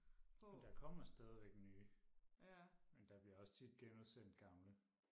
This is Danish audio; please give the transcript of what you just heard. ja der kommer stadigvæk nye men der bliver også tit genudsendt gamle